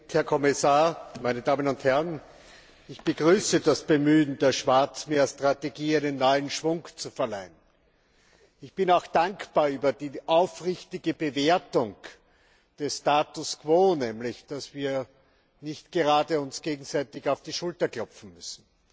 Herr Präsident, Herr Kommissar, meine Damen und Herren! Ich begrüße das Bemühen, der Schwarzmeerstrategie neuen Schwung zu verleihen. Ich bin auch dankbar für die aufrichtige Bewertung des Status quo, nämlich dass wir uns nicht gerade gegenseitig auf die Schulter klopfen dürfen!